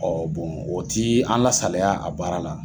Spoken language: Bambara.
o ti an lasaliya a baara la.